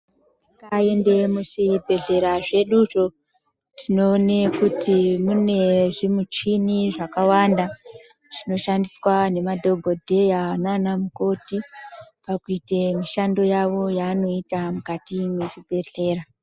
Tikaende muzvibhedhleya zveduzvi tinoone kuti mune zvimuchini zvakawanda zvinoshandiswa ngemadhokodheya nanamukoti pakuite mishando yawo yaanoita mukati mwezvibhedhleya.